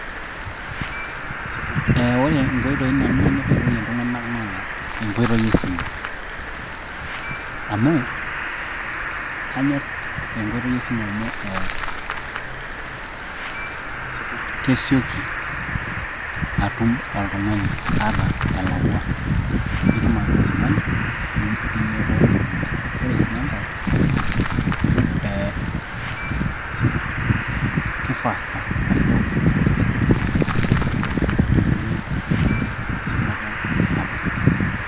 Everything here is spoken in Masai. Eeeh ore inkoitoi nanu nanyor airorie iltung'anak naa enkoitoi e simu amu kanyor enkoitoi esimu amu ee kesioki atum oltung'ani ata elakwa ketum ake ilo tung'ani neeku irorie ore sii enkae ee kei faster ashuu meitumiya enkata sapuk.